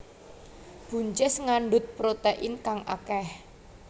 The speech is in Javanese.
Buncis ngandhut protèin kang akèh